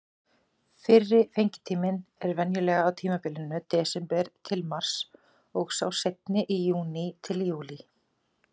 Fyrri fengitíminn er venjulega á tímabilinu desember-mars og sá seinni í júní-júlí.